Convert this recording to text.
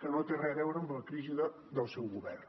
que no té res a veure amb la crisi del seu govern